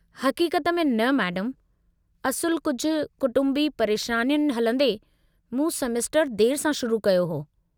हक़ीक़त में न मैडमु, असुलु कुझु कुटुंबी परेशानियुनि हलंदे, मूं सेमेस्टरु देरि सां शुरु कयो हो।